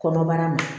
Kɔnɔbara ma